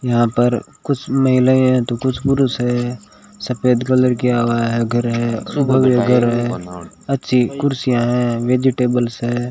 यहां पर कुछ महिलाएं हैं तो कुछ पुरुष है सफेद कलर किया हुआ घर है घर है अच्छी कुर्सियां है वेजिटेब्ल्स है।